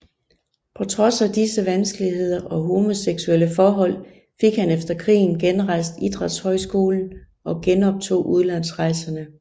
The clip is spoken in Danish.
På trods af disse vanskeligheder og homoseksuelle forhold fik han efter krigen genrejst idrætshøjskolen og genoptog udlandsrejserne